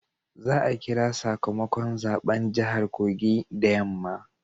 Za a kira sakamakon zaben jahar Kogi da yamma